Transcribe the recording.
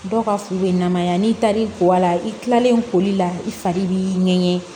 Dɔw ka furu bɛ namaya n'i taar'i ko a la i kilalen koli la i fari b'i ŋɛɲɛ